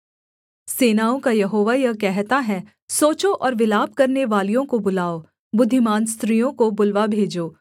सेनाओं का यहोवा यह कहता है सोचो और विलाप करनेवालियों को बुलाओ बुद्धिमान स्त्रियों को बुलवा भेजो